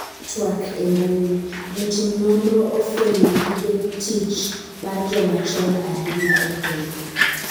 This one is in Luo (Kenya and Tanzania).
twak e mbui, jotim nonro ofwenyo gige tich mar joma chon ahinya e piny